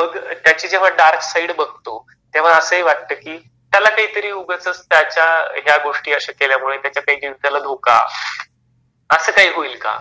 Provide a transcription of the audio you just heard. मग त्याची जेव्हा डार्क साइड बघतो तेव्हा अस ही वाटत की त्याला काहीतरी उगचच त्याच्या या गोष्टी अश्या केल्या मुळे त्याच्या काही जीविकाला धोका अस काही होईल का?